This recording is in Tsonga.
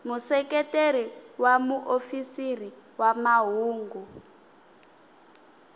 museketeri wa muofisiri wa mahungu